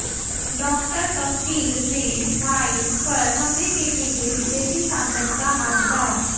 डॉ कफ़ील ने भाई पर हमले के पीछे बीजेपी सांसद का हाथ बताया